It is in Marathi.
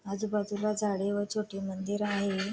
आजूबाजूला झाडे व छोटी मंदिर हाये.